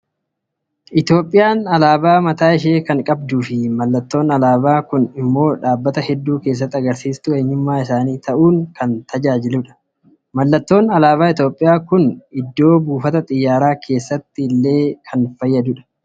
Itoophiyaan alaabaa mataa ishee kan qabduu fi mallattoon alaabaa kun immoo dhaabbata hedduu keessatti agarsiistuu eenyummaa isaanii ta'uun kan tajaajiludha. Mallattoon alaabaa Itoophiyaa kun iddoo buufata Xiyyaaraa keessatti kan fayyadudha.